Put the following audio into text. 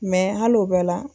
hali o bɛɛ la.